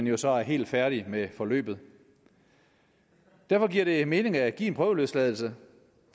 jo så er helt færdig med forløbet derfor giver det mening at give en prøveløsladelse